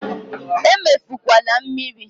Emefukwala mmiri!